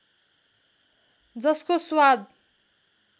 जसको स्वाद